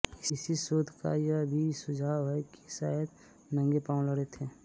इसी शोध का यह भी सुझाव है कि वे शायद नंगे पांव लड़ते थे